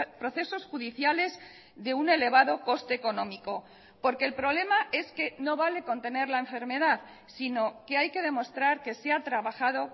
procesos judiciales de un elevado coste económico porque el problema es que no vale con tener la enfermedad sino que hay que demostrar que se ha trabajado